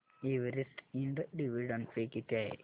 Everest ind dividend pay किती आहे